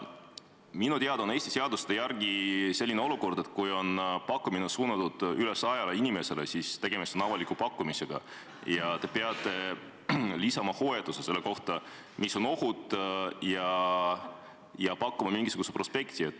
Minu teada on Eesti seaduste järgi selline olukord, et kui pakkumine on suunatud üle 100 inimesele, siis on tegemist avaliku pakkumisega ja te peate lisama selle kohta hoiatuse, mis on ohud, ja pakkuma mingisuguse prospekti.